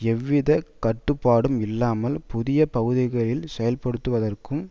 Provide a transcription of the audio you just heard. எந்தவிதமான கட்டுப்பாடும் இல்லாமல் புதிய பகுதிகளில் செயல்படுவதற்கும்